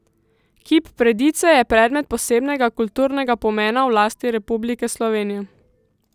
Kip Predice je predmet posebnega kulturnega pomena v lasti Republike Slovenije.